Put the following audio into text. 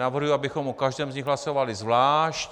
Navrhuji, abychom o každém z nich hlasovali zvlášť.